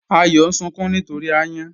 Àyọ̀ n sunkùn nítorí ayàn.